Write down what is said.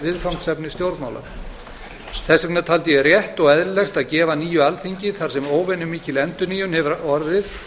viðfangsefni stjórnmála þess vegna taldi ég rétt og eðlilegt að gefa nýju alþingi þar sem óvenju mikil endurnýjun hefur orðið